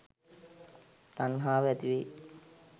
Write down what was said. තණ්හාව ඇති වෙයි